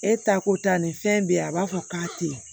E ta ko ta nin fɛn bɛ yen a b'a fɔ k'a tɛ ye